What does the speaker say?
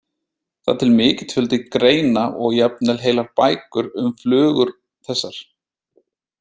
Það er til mikill fjöldi greina og jafnvel heilar bækur um flugur þessar.